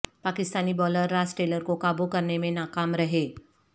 Pakistani bowler Ross Taylor کو قابو کرنے میں ناکام رہے